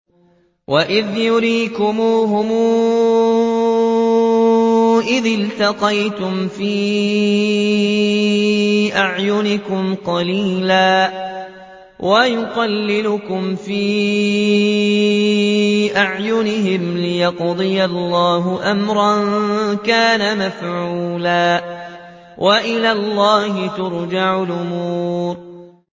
وَإِذْ يُرِيكُمُوهُمْ إِذِ الْتَقَيْتُمْ فِي أَعْيُنِكُمْ قَلِيلًا وَيُقَلِّلُكُمْ فِي أَعْيُنِهِمْ لِيَقْضِيَ اللَّهُ أَمْرًا كَانَ مَفْعُولًا ۗ وَإِلَى اللَّهِ تُرْجَعُ الْأُمُورُ